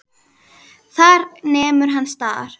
Þar nemur hann staðar.